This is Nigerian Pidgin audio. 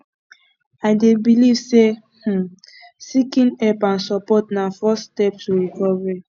i dey believe say um seeking help and support na first step to recovery